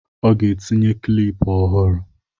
ọ ga-etinye kịlịpù ọhụrụ